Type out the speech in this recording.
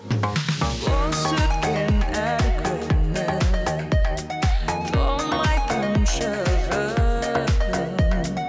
бос өткен әр күнің толмайтын шығын